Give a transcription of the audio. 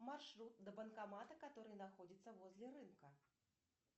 маршрут до банкомата который находится возле рынка